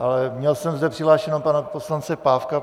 Ale měl jsem zde přihlášeného pana poslance Pávka.